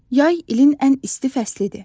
Yay ilin ən isti fəslidir.